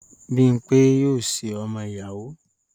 Bímpé yóò ṣe ọmọ-ìyàwó.